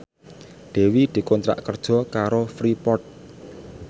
Dewi dikontrak kerja karo Freeport